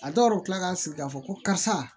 A dɔw yɛrɛ bɛ tila k'a sigi k'a fɔ ko karisa